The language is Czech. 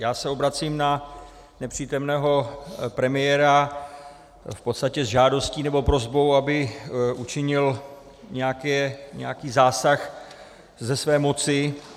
Já se obracím na nepřítomného premiéra v podstatě s žádostí nebo prosbou, aby učinil nějaký zásah ze své moci.